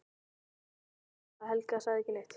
Þakkaði sínum sæla að Helga sagði ekki neitt.